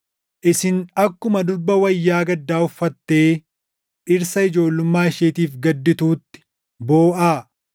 Isin akkuma durba wayyaa gaddaa uffattee dhirsa ijoollummaa isheetiif gaddituutti booʼaa.